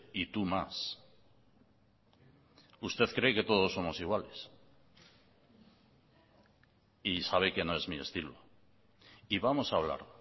y tú más usted cree que todos somos iguales y sabe que no es mi estilo y vamos a hablar